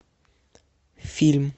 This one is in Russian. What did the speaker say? фильм